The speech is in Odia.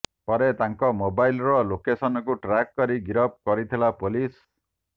ପରେ ତାଙ୍କ ମୋବାଇଲର ଲୋକେସନକୁ ଟ୍ରାକ କରି ଗିରଫ କରିଥିଲା ପୋଲିସ